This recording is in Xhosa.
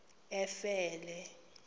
efele